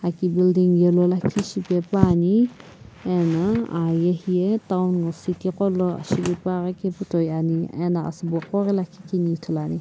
shipaepane ana ahaan yae town nguo city gholo shilupa keu toh ame ano asu bo ghoghe lakhi kene ithulu ane.